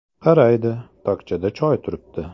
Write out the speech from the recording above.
Qaraydi: tokchada choy turibdi.